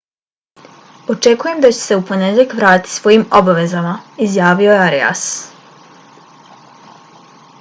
očekujem da ću se u ponedjeljak vratiti svojim obavezama izjavio je arias